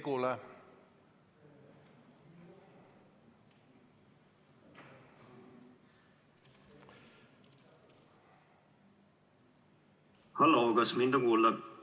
Halloo, kas mind on kuulda?